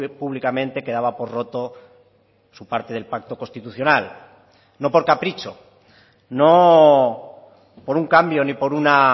públicamente que daba por roto su parte del pacto constitucional no por capricho no por un cambio ni por una